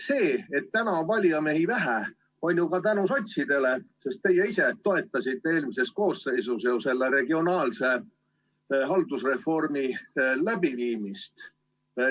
See, et täna on valijamehi vähe, on ju nii ka tänu sotsiaaldemokraatidele, sest teie ise toetasite eelmises koosseisus regionaalse haldusreformi läbiviimist.